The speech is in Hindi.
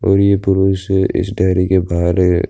और ये पुरुष इस डेरी के बाहर है।